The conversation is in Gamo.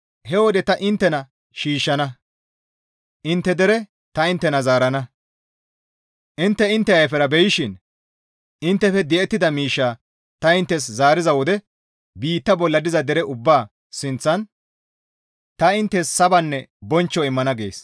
He wode ta inttena shiishshana; intte dere ta inttena zaarana. Intte intte ayfera beyishin, inttefe di7ettida miishshaa ta inttes zaariza wode biitta bolla diza dere ubbaa sinththan ta inttes sabanne bonchcho immana» gees.